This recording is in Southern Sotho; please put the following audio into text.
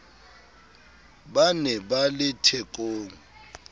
ba ne ba le thekong